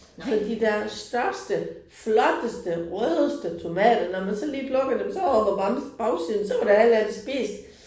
Så de der største flotteste rødeste tomater når man så lige plukkede dem så omme på bam bagsiden så var det halve af det spist